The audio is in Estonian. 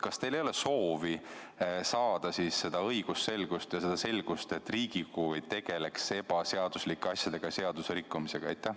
Kas teil ei ole siis soovi saada õigusselgust ja saavutada seda, et Riigikogu ei tegeleks ebaseaduslike asjadega ja seadusrikkumisega?